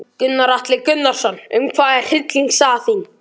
Gunnar Atli Gunnarsson: Um hvað er hryllingssaga þín?